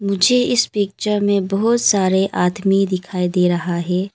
मुझे इस पिक्चर में बहुत सारे आदमी दिखाई दे रहा है।